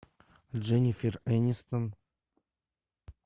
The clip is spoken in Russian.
дженнифер энистон